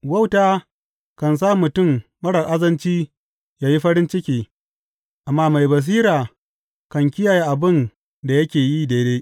Wauta kan sa mutum marar azanci ya yi farin ciki, amma mai basira kan kiyaye abin da yake yi daidai.